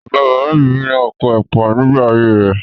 Bàbá-bàbá mi ní oko ẹ̀pà nígbà ayé rẹ̀.